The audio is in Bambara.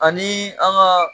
Ani an ga